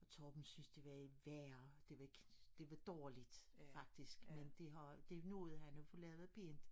Torben synes det var et værre det var ikke det var dårligt faktisk men det har det nåede han at få lavet noget pænt